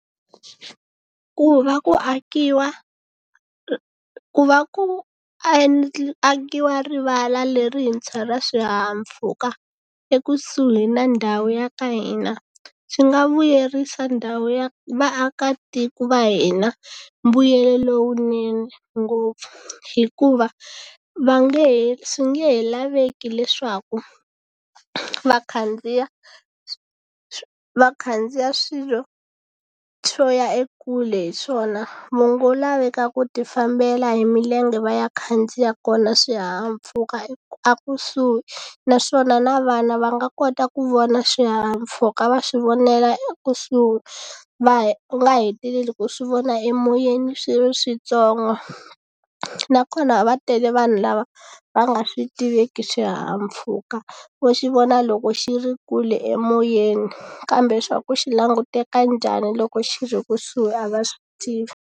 Ku va ku akiwa ku va ku akiwa rivala lerintshwa ra swihahampfhuka ekusuhi na ndhawu ya ka hina swi nga vuyerisa ndhawu ya vaakatiko va hina mbuyelo lowunene ngopfu hikuva va nge he swi nge laveki leswaku va khandziya va khandziya swilo swo ya ekule hi swona laveka ku ti fambela hi milenge va ya khandziya kona swihahampfhuka a kusuhi naswona na vana va nga kota ku vona swihahampfhuka va swi vonela ekusuhi va nga heteleli ku swi vona emoyeni swi ri switsongo nakona va tele vanhu lava va nga swi tiveki swihahampfhuka vo xi vona loko xi ri kule emoyeni kambe swa ku xi languteka njhani loko xi ri kusuhi a va swi tivi.